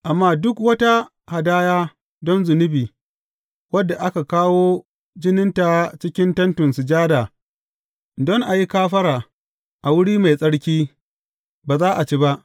Amma duk wata hadaya don zunubi wadda aka kawo jininta cikin Tentin Sujada don a yi kafara a Wuri Mai Tsarki, ba za a ci ba.